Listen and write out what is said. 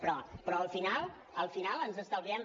però al final al final ens estalviem